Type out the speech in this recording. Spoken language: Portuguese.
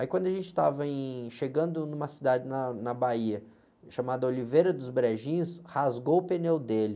Aí quando a gente estava em, chegando numa cidade na, na Bahia, chamada Oliveira dos Brejinhos, rasgou o pneu dele.